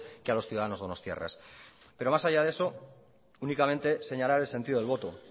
que a los ciudadanos donostiarras pero más allá de eso únicamente señalar el sentido del voto